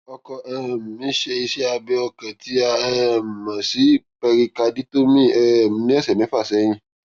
ọkọ um mi ṣe iṣẹ abẹ ọkàn tí a um mọ sí pẹrikaditomíì um ní ọsẹ mẹfà sẹyìn